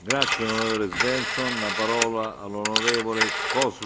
Pane předsedající, dnes odpoledne jsme zde v sále udělovali Sacharovovu cenu.